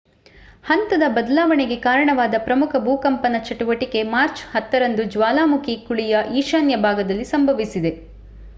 ಹಂತದ ಬದಲಾವಣೆಗೆ ಕಾರಣವಾದ ಪ್ರಮುಖ ಭೂಕಂಪನ ಚಟುವಟಿಕೆ ಮಾರ್ಚ್ 10 ರಂದು ಜ್ವಾಲಾಮುಖಿ ಕುಳಿಯ ಈಶಾನ್ಯ ಭಾಗದಲ್ಲಿ ಸಂಭವಿಸಿದೆ